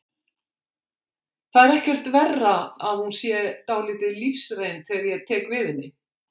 Það er ekkert verra að hún sé dálítið lífsreynd þegar ég tek við henni.